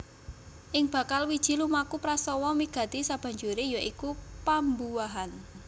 Ing bakal wiji lumaku prastawa wigati sabanjuré ya iku pambuahan